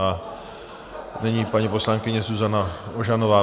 A nyní paní poslankyně Zuzana Ožanová.